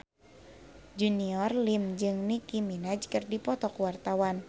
Junior Liem jeung Nicky Minaj keur dipoto ku wartawan